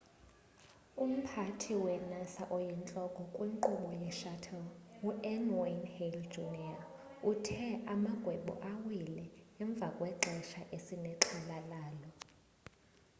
umphathi we-nasa oyintloko kwinkqubo ye-shuttle un.wayne hale jr. uthe amagwebu awile emva kwexesha esinexhala lalo.